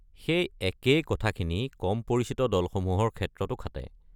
সেই একেই কথাখিনি কম পৰিচিত দলসমূহৰ ক্ষেত্ৰটো খাটে।